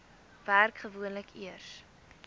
werk gewoonlik eers